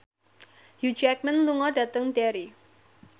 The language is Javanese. Hugh Jackman lunga dhateng Derry